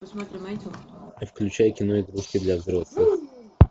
включай кино игрушки для взрослых